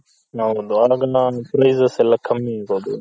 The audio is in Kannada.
ಹೌದು prices ಎಲ್ಲಾ ಕಮ್ಮಿ ಇರೋದು